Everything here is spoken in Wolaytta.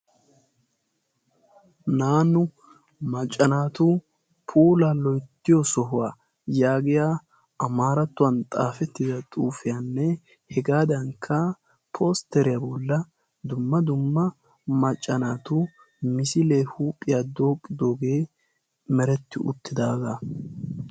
Naanu maccanaatu pola loyttiyo sohuwaa yaagiya amaarattuwan xaafettida xuufiyaanne hegaadankka postteriyaa bolla dumma dumma maccanaatu misilee huuphiyaa dooqqidoogee meretti uttidaagaa.